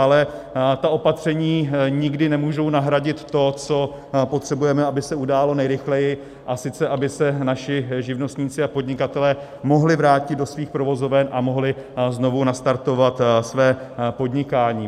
Ale ta opatření nikdy nemůžou nahradit to, co potřebujeme, aby se událo nejrychleji, a sice aby se naši živnostníci a podnikatelé mohli vrátit do svých provozoven a mohli znovu nastartovat své podnikání.